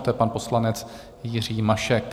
A to je pan poslanec Jiří Mašek...